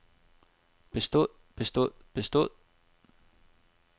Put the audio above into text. bestod bestod bestod